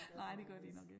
Det gør de nok ikke